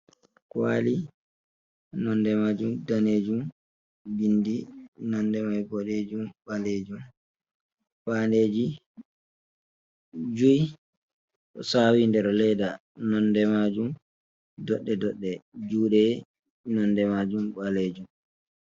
Kwali nonde majum danejum. Bindi nonde mai boɗejum, ɓaleejum, faandeji jui, ɗo sawi nder leda, nonde majum doɗɗe-doɗɗe, juɗe nonde majum ɓaleejum.